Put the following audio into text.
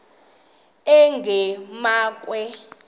enqgamakhwe